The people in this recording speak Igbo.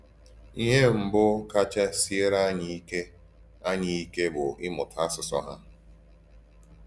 Íhè mbù kacha sịèrè ànyí íké ànyí íké bụ̀ ímụ̀tá àsụsụ hà.